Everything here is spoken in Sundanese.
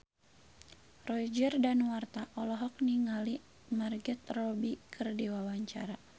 Roger Danuarta olohok ningali Margot Robbie keur diwawancara